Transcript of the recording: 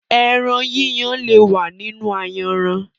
Ẹran yíyan le wa nínú ayanran.